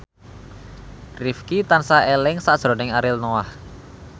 Rifqi tansah eling sakjroning Ariel Noah